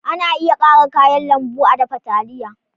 Ana iya ƙara kayan lambu a dafa taliya.